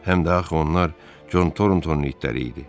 Həm də axı onlar Con Thorntonun itləri idi.